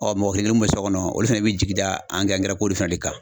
Ɔ mɔgɔ kelen min bɛ so kɔnɔ ,olu fana bɛ jigi da an ko fɛnɛ de kan.